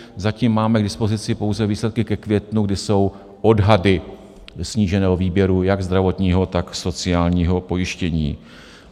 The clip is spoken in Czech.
Zatím máme k dispozici pouze výsledky ke květnu, kdy jsou odhady sníženého výběru jak zdravotního, tak sociálního pojištění.